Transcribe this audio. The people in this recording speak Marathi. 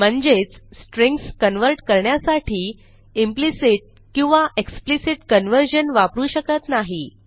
म्हणजेच स्ट्रिंग्ज कन्व्हर्ट करण्यासाठी इम्प्लिसिट किंवा एक्सप्लिसिट कन्व्हर्जन वापरू शकत नाही